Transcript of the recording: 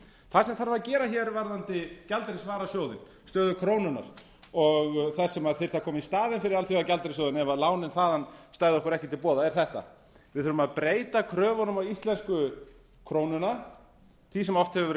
það sem þarf að gera hér varðandi gjaldeyrisvarasjóðinn stöðu krónunnar og það sem þyrfti að koma í staðinn fyrir alþjóðagjaldeyrissjóðinn ef lánin þaðan stæðu okkur ekki til boða er þetta við þurfum að breyta kröfunum á íslensku krónuna því sem oft hefur verið